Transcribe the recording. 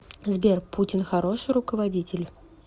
сбер путин хороший руководитель